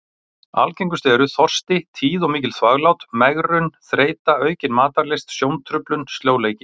Algengust eru: þorsti, tíð og mikil þvaglát, megrun, þreyta, aukin matarlyst, sjóntruflun, sljóleiki.